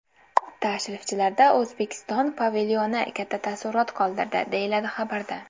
Tashrifchilarda O‘zbekiston pavilyoni katta taassurot qoldirdi, deyiladi xabarda.